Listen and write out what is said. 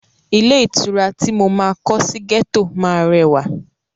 Ilé ìtura ti mo máa kọ sí gẹ́tọ̀ máa rẹwà.